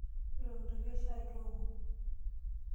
Ntokitokie shaai tooko.